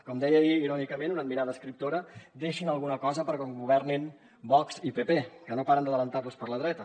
com deia ahir irònicament una admirada escriptora deixin alguna cosa per un govern vox i partit popular que no paren d’avançar los per la dreta